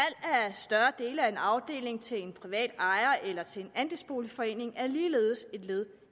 større dele af en afdeling til en privat ejer eller til en andelsboligforening er ligeledes et led